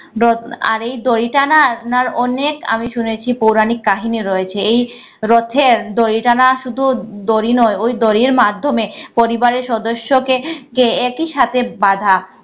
আর এই দড়িটা না আপনার অনেক আমি শুনেছি পৌরাণিক কাহিনী রয়েছে। এই রথের দড়ি টানা শুধু দড়ি নয় ওই দড়ির মাধ্যমে পরিবারের সদস্যকে কে একই সাথে বাঁধা